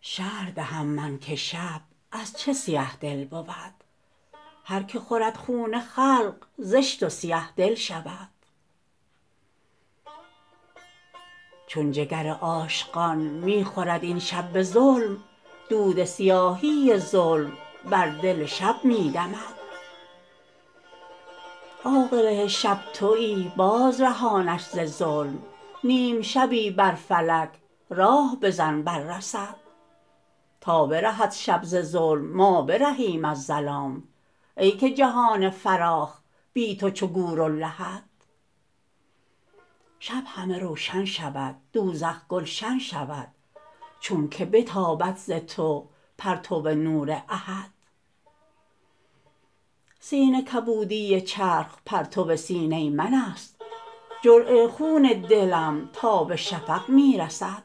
شرح دهم من که شب از چه سیه دل بود هر کی خورد خون خلق زشت و سیه دل شود چون جگر عاشقان می خورد این شب به ظلم دود سیاهی ظلم بر دل شب می دمد عاقله شب توی بازرهانش ز ظلم نیم شبی بر فلک راه بزن بر رصد تا برهد شب ز ظلم ما برهیم از ظلام ای که جهان فراخ بی تو چو گور و لحد شب همه روشن شود دوزخ گلشن شود چونک بتابد ز تو پرتو نور احد سینه کبودی چرخ پرتو سینه منست جرعه ی خون دلم تا به شفق می رسد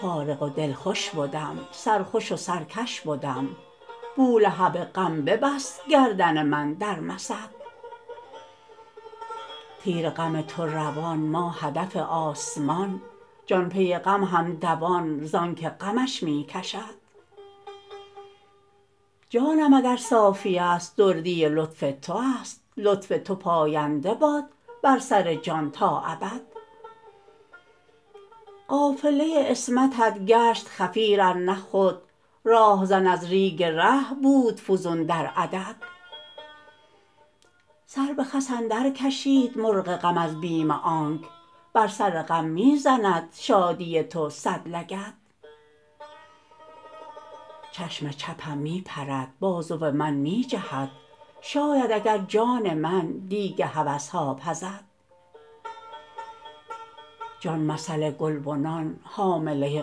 فارغ و دلخوش بدم سرخوش و سرکش بدم بولهب غم ببست گردن من در مسد تیر غم تو روان ما هدف آسمان جان پی غم هم دوان زانک غمش می کشد جانم اگر صافی است دردی لطف تو است لطف تو پاینده باد بر سر جان تا ابد قافله ی عصمتت گشت خفیر ار نه خود راهزن از ریگ ره بود فزون در عدد سر به خس اندرکشید مرغ غم از بیم آنک بر سر غم می زند شادی تو صد لگد چشم چپم می پرد بازو من می جهد شاید اگر جان من دیگ هوس ها پزد جان مثل گلبنان حامله ی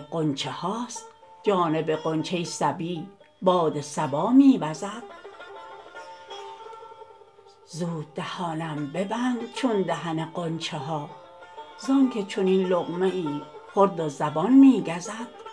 غنچه هاست جانب غنچه صبی باد صبا می وزد زود دهانم ببند چون دهن غنچه ها زانک چنین لقمه ای خورد و زبان می گزد